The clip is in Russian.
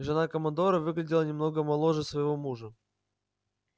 жена командора выглядела намного моложе своего мужа